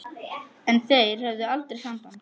En þeir höfðu aldrei samband